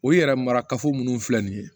O yɛrɛ mara kafo minnu filɛ nin ye